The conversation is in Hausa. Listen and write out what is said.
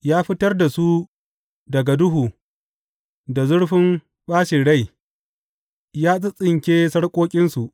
Ya fitar da su daga duhu da zurfin ɓaci rai ya tsintsinke sarƙoƙinsu.